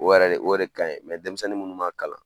O yɛrɛ de o de ka ɲi denmisɛnnin munnu man kalan.